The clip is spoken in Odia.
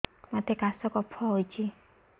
ମୋତେ କାଶ କଫ ହଉଚି